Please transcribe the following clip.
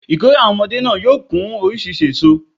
Ìkórè àwon omodé náà yóò kún orísirísi èso